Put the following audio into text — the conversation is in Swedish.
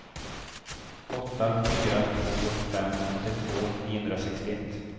åtta fyra två fem åttiotvå niohundrasextioett